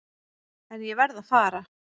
En ég varð að fara.